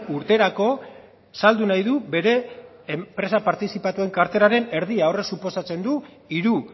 urterako saldu nahi du bere enpresa partizipatuen karteraren erdia horrek suposatzen du hiru